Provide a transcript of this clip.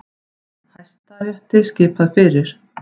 Hæstarétti skipað fyrir